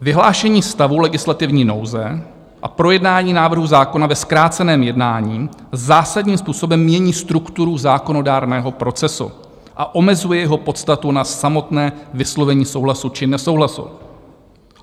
Vyhlášení stavu legislativní nouze a projednání návrhu zákona ve zkráceném jednání zásadním způsobem mění strukturu zákonodárného procesu a omezuje jeho podstatu na samotné vyslovení souhlasu či nesouhlasu.